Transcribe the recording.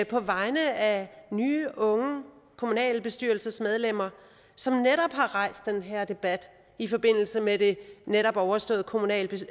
på vegne af nye unge kommunalbestyrelsesmedlemmer som har rejst den her debat i forbindelse med det netop overståede kommunalvalg